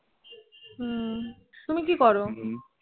হম তুমি কি করো?